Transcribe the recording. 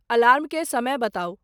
alarm के समय बताऊं